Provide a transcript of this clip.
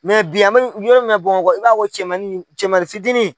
bi an mɛ yɔrɔ min na Bamakɔ i b'a fɔ ko cɛmannin cɛmannin fitini.